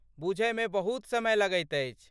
बुझयमे बहुत समय लगैत अछि।